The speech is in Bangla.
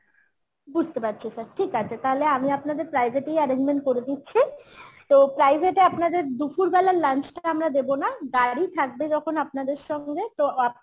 বুঝতে পারছি sir ঠিক আছে তাহলে আমি আপনাদের private এই arrangement করে দিচ্ছি তো private এ আপনাদের দুপুরবেলার lunch টা আমরা দেবো না গাড়ি থাকবে যখন আপনাদের সঙ্গে তো আপনারা